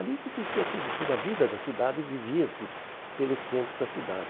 Ali que existia tudo, toda a vida da cidade vivia-se pelo centro da cidade.